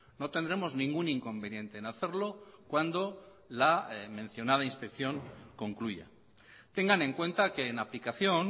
no tendremos ningún inconveniente en hacerlo cuando la mencionada inspección concluya tengan en cuenta que en aplicación